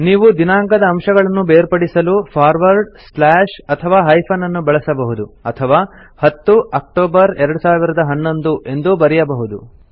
ನೀವು ದಿನಾಂಕದ ಅಂಶಗಳನ್ನು ಬೇರ್ಪಡಿಸಲು ಫಾರ್ವರ್ಡ್ ಸ್ಲಾಶ್ ಅಥವಾ ಹೈಫನ್ ಅನ್ನು ಬಳಸಬಹುದು ಅಥವಾ 10 ಆಕ್ಟೋಬರ್ 2011 ಎಂದು ಬರೆಯಬಹುದು